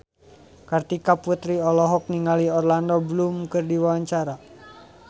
Kartika Putri olohok ningali Orlando Bloom keur diwawancara